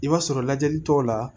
I b'a sɔrɔ lajɛli tɔ la